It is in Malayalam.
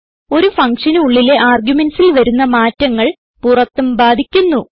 ഒരു ഫങ്ഷന് ഉള്ളിലെ argumentsൽ വരുന്ന മാറ്റങ്ങൾ പുറത്തും ബാധിക്കുന്നു